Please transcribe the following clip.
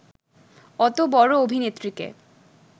অত বড় অভিনেত্রীকে